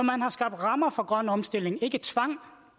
man har skabt rammer for grøn omstilling ikke tvang